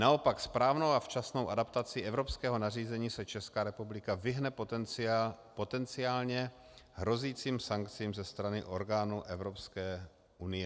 Naopak správnou a včasnou adaptací evropského nařízení se Česká republika vyhne potenciálně hrozícím sankcím ze strany orgánů Evropské unie.